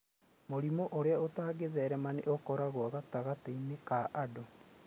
Mũrimũ ũrĩa ũtangĩtherema nĩ ũkoragwo gatagatĩ-inĩ ka andũ.